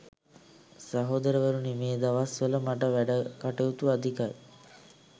සහෝදරවරුනි මේ දවස් වල මට වැඩ කටයුතු අධිකයි